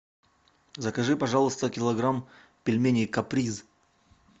закажи пожалуйста килограмм пельменей каприз